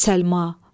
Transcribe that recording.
Ah!